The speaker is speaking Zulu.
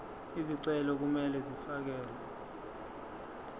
izicelo kumele zifakelwe